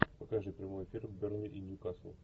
покажи прямой эфир бернли и ньюкасл